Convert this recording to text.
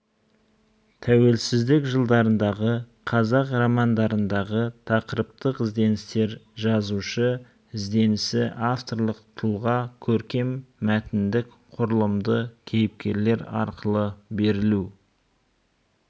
тәуелсіздік жылдарындағы қазақ романдарындағы тақырыптық ізденістер жазушы ізденісі авторлық тұлға көркем мәтіндік құрылымды кейіпкерлер арқылы берілу